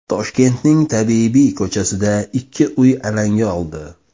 Toshkentning Tabibiy ko‘chasida ikki uy alanga oldi.